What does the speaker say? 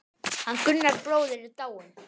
Hann Gunnar bróðir er dáinn.